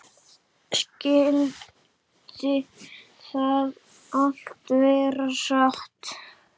Skyldi það allt vera satt?